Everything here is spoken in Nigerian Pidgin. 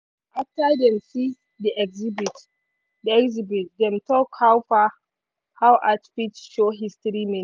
after dem see di exhibit dem talk how art fit show history meaning.